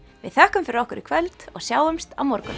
við þökkum fyrir okkur í kvöld og sjáumst á morgun